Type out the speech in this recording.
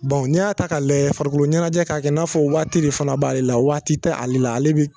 n'i y'a ta k'a layɛ farikolo ɲɛnajɛ k'a kɛ i n'a fɔ waati de fana b'ale la waati tɛ ale la ale bi